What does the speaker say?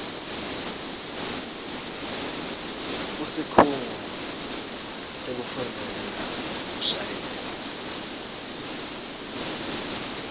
kusikhungo sekufundzela kushayela